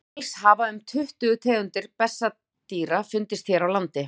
alls hafa um tuttugu tegundir bessadýra fundist hér á landi